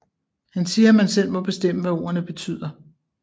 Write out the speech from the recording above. Han siger at man selv må bestemme hvad ordene betyder